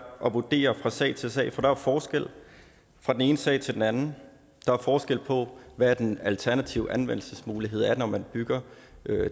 at vurdere fra sag til sag for der er forskel fra den ene sag til den anden der er forskel på hvad den alternative anvendelsesmulighed er afhængigt af om man bygger